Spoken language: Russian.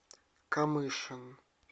камышин